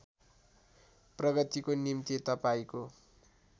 प्रगतिको निम्ति तपाईँको